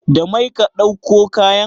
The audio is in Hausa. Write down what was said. Da mai ka ɗauko kayan?